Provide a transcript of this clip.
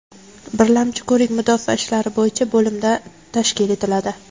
Birlamchi ko‘rik mudofaa ishlari bo‘yicha bo‘limda tashkil etiladi.